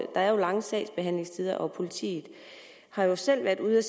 der er lange sagsbehandlingstider og at politiet selv har været ude